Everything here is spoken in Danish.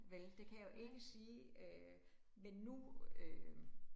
Vel, det kan jeg jo ikke sige øh, men nu øh